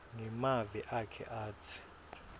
ngemavi akhe atsi